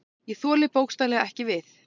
Ég þoli bókstaflega ekki við.